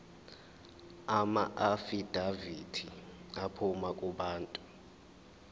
amaafidavithi aphuma kubantu